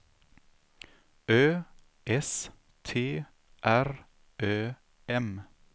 Ö S T R Ö M